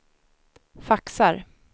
faxar